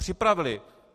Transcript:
Připravili.